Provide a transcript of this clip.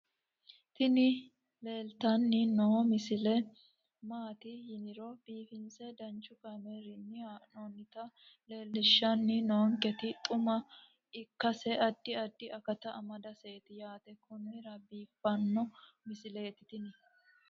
tini leeltanni noo misile maaati yiniro biifinse danchu kaamerinni haa'noonnita leellishshanni nonketi xuma ikkase addi addi akata amadaseeti yaate konnira biiffanno misileeti tini